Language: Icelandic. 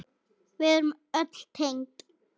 Við erum öll tengd.